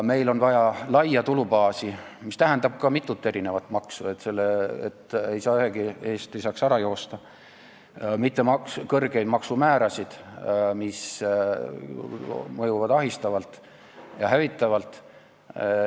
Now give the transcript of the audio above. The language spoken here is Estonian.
Meil on vaja laia tulubaasi , mitte kõrgeid maksumäärasid, mis mõjuvad ahistavalt ja hävitavalt.